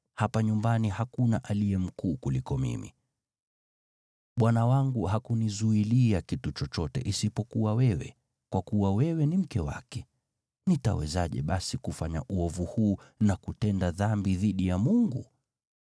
Hapa nyumbani hakuna aliye mkuu kuliko mimi. Bwana wangu hakunizuilia kitu chochote isipokuwa wewe, kwa kuwa wewe ni mke wake. Nitawezaje basi kufanya uovu huu na kutenda dhambi dhidi ya Mungu?”